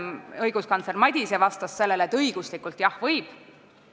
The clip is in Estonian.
Õiguskantsler Madise vastas selle peale, et õiguslikult võib.